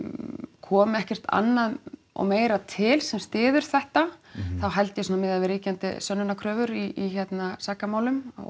komi ekkert annað og meira til sem styður þetta þá held ég svona miðað við ríkjandi sönnunarkröfur í hérna sakamálum og